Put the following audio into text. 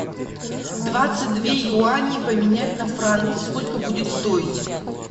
двадцать две юани поменять на франки сколько будет стоить